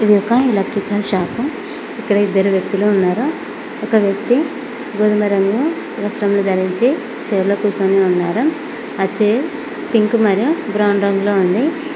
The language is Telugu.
ఇది ఒక ఎలెట్రికల్ షాపు ఇక్కడ ఇద్దరు వ్యక్తులు ఉన్నారు ఒక వ్యక్తి గోధుమ రంగు వస్త్రములు ధరించి చేర్ లో కూర్చొని ఉన్నారు ఆ చేర్ పింక్ మరియు బ్రౌన్ రంగులో ఉంది.